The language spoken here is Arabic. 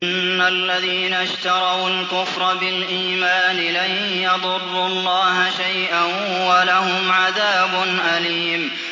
إِنَّ الَّذِينَ اشْتَرَوُا الْكُفْرَ بِالْإِيمَانِ لَن يَضُرُّوا اللَّهَ شَيْئًا وَلَهُمْ عَذَابٌ أَلِيمٌ